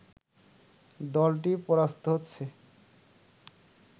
দলটি পরাস্ত হচ্ছে